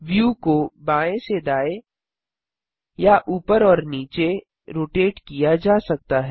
view को बाएँ से दाएँ या ऊपर और नीचे रोटेट किया जा सकता है